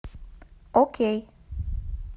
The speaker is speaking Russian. окей